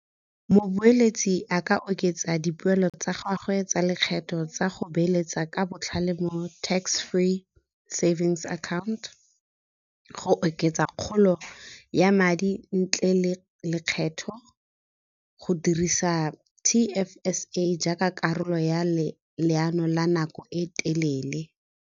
Moboeleetsi a ka oketsa dipoelo tsa gagwe tsa lekgetho tsa go beeletsa ka botlhale mo tax free savings account, go oketsa kgolo ya madi ntle le lekgetho go dirisa T_F_S_A jaaka karolo ya leano la nako e telele.